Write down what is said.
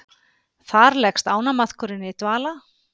Þar leggst ánamaðkurinn í dvala.